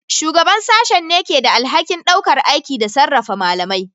Shugaban Sashen ne ke da alhakin ɗaukar aiki da sarrafa malamai.